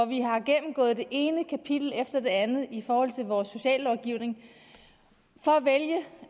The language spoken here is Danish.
vi har gennemgået det ene kapitel efter det andet i vores sociallovgivning for at vælge